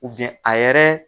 U biyɛn a yɛrɛ